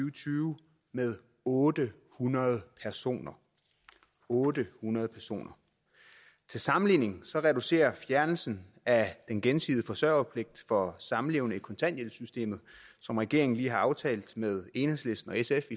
og tyve med otte hundrede personer otte hundrede personer til sammenligning reducerer fjernelsen af den gensidige forsørgerpligt for samlevende i kontanthjælpssystemet som regeringen lige har aftalt med enhedslisten og sf